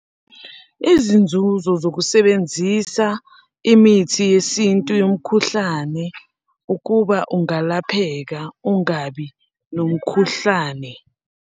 Izinzuzo zokusebenzisa imithi yesintu yomkhuhlane ukuba ungalapheka ungabi nomkhuhlane.